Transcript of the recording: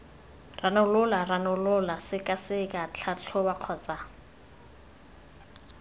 ranola ranola sekaseka tlhatlhoba kgotsa